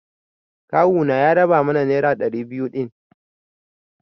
Kawuna ya raba mana nera ɗari biyu din.